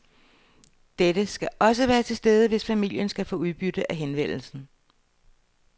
Dette skal også være til stede, hvis familien skal få udbytte af henvendelsen.